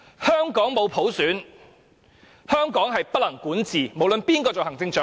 香港沒有普選，香港便不能管治——不論是誰做行政長官。